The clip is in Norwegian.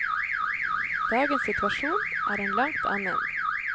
Dagens situasjon er en langt annen.